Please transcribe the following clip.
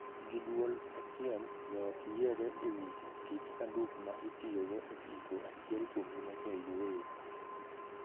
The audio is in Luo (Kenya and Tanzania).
Gi duol achiel, joot yiere e wii kit sanduk ma itiyogo e iko achiel kuomgi moseyueyo.